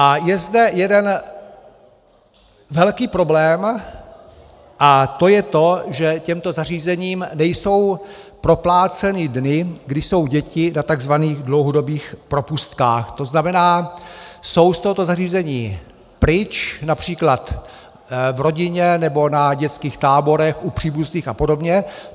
A je zde jeden velký problém a to je to, že těmto zařízením nejsou propláceny dny, kdy jsou děti na takzvaných dlouhodobých propustkách, to znamená, jsou z tohoto zařízení pryč, například v rodině, nebo na dětských táborech, u příbuzných a podobně.